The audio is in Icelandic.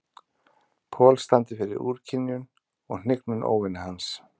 Paul standi fyrir úrkynjun og hnignun óvina hans.